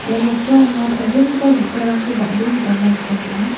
ia noksao anga chonchongipa bi·sarangko bang·bee nikatna gita man·a.